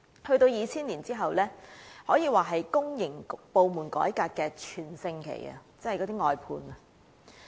到了2000年，可說是公營部門改革的全盛期。